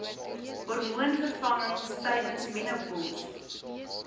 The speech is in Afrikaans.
hormoonvervangings tydens menopouse